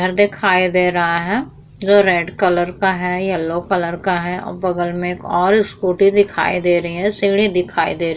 घर दिखाई दे रहा है जो रेड कलर का है येल्लो कलर का है। बगल में एक और स्कूटी दिखाई दे रही है सीढ़ी दिखाई दे रही है।